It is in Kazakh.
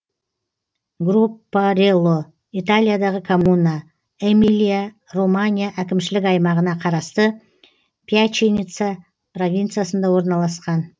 гроппарелло италиядағы коммуна эмилия романья әкімшілік аймағына қарасты пьяченца провинциясында орналасқан